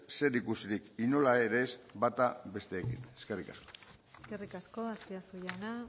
zerikusirik inolaz ere ez bata bestearekin eskerrik asko eskerrik asko azpiazu jauna